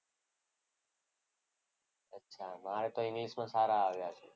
અચ્છા મારે તો ઇંગ્લિશમાં સારા આવ્યા છે.